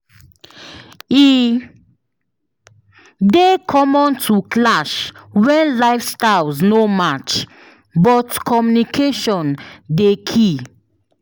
E dey common to clash when lifestyles no match, but communication dey key.